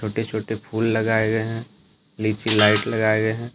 छोटे छोटे फूल लगाए गए हैं नीचे लाइट लगाई गए है।